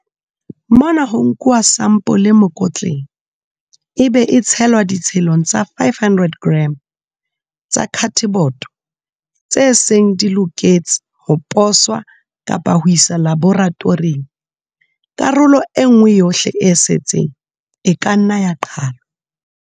Mona ho nkuwa sampole mokotleng, ebe e tshelwa ditshelong tsa 500 g tsa khateboto tse seng di loketse ho poswa kapa ho iswa laboratoring. Karolo e nngwe yohle e setseng e ka nna ya qhalwa.